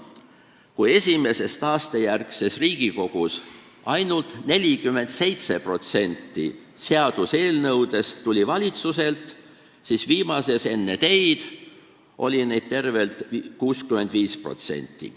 Kui esimeses taastejärgses Riigikogus tuli ainult 47% seaduseelnõudest valitsuselt, siis viimases enne teid oli selliseid eelnõusid tervelt 65%.